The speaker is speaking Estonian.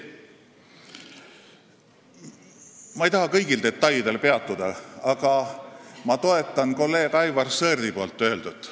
Ma ei taha kõigil detailidel peatuda, aga ma toetan kolleeg Aivar Sõerdi öeldut.